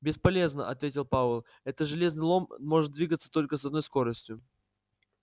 бесполезно ответил пауэлл это железный лом может двигаться только с одной скоростью